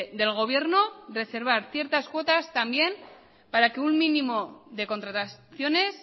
del gobierno reservar ciertas cuotas también para que un mínimo de contrataciones